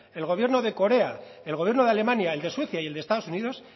el gobierno de corea el gobierno de alemania el de suecia y el de estados unidos